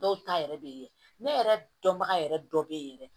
Dɔw ta yɛrɛ bɛ yen ne yɛrɛ dɔnbaga yɛrɛ dɔ bɛ yen yɛrɛ